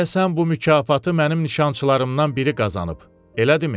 Deyəsən bu mükafatı mənim nişançılarımdan biri qazanıb, elədimi?